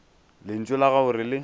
lentšu la gago re le